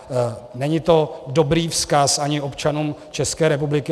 Není to dobrý vzkaz ani občanům České republiky.